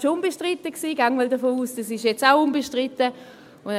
Es war also unbestritten, und ich gehe davon aus, dass es jetzt auch unbestritten ist.